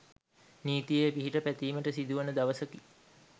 නීතියේ පිහිට පැතීමට සිදුවන දවසකි